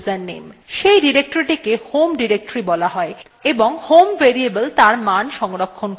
সেই ডিরেক্টরীটিকে home directory বলা হয় এবং home variable তার মান সংরক্ষণ করে